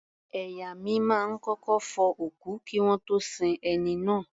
Ẹ̀yà mi máa ń kọ́kọ́ fọ òkú kí wọ́n tó sin ẹni náà.